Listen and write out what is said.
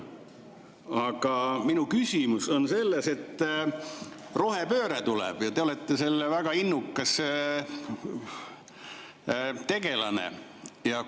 Aga minu küsimus on selles, et rohepööre tuleb ja te olete selle väga innukas vedaja.